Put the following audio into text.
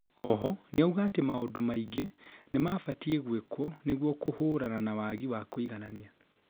oho nĩauga atĩ maũndũ maingĩ nĩmabatie gwĩkuo nĩguo kũhũrana na wagi wa kũiganania